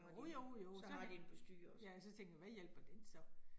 Jo jo jo, så ja, så, ja og tænker, hvad hjælper den så